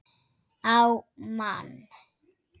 Á mann.